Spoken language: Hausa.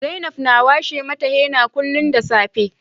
Zainab na washe mata henna kullum da safe